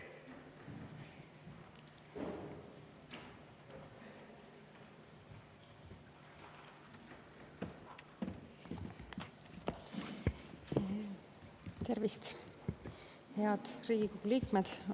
Tervist, head Riigikogu liikmed!